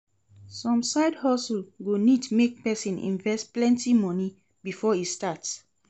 Some side hustle go need make persin invest plenty money before e start